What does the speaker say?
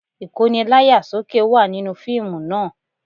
Ìkóni láyà sókè wà nínú fíìmù náà